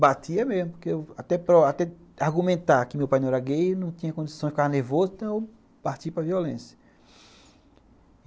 Batia mesmo, porque até para argumentar que meu pai não era gay, não tinha condição, ele ficava nervoso, então eu partia para violência.